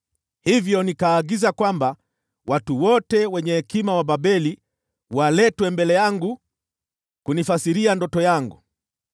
Hivyo nikaagiza kwamba watu wote wenye hekima wa Babeli waletwe mbele yangu kunifasiria ndoto yangu.